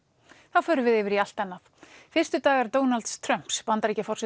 þá förum við yfir í allt annað fyrstu dagar Donalds Trumps Bandaríkjaforseta